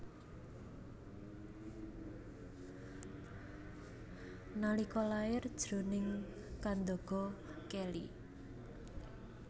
Nalika lair jroning kandaga kèli